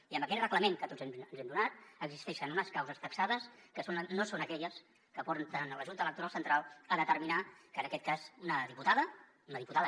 i en aquest reglament que tots ens hem donat existeixen unes causes taxades que no són aquelles que porten la junta electoral central a determinar que en aquest cas una diputada una diputada